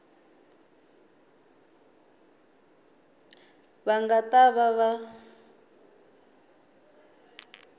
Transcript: va nga ta va va